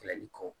Kɛlɛli kɔ